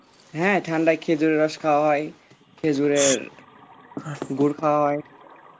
হ্যাঁ ঠান্ডায় খেজুরের রস খাওয়া হয় খেজুরের গুড় খাওয়া হয়